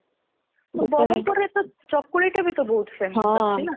ବରମପୁର ରେ ଚକୁଳି ଟା ତ ବହୁତ famous ଅଛି ନା